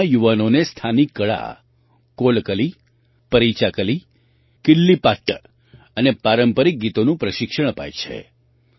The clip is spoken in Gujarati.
ત્યાં યુવાનોને સ્થાનિક કળા કોલકલી પરીચાકલી કિલિપ્પાટ્ટ અને પારંપરિક ગીતોનું પ્રશિક્ષણ અપાય છે